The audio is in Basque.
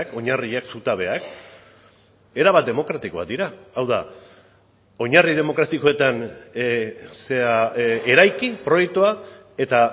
oinarriak zutabeak erabat demokratikoak dira hau da oinarri demokratikoetan eraiki proiektua eta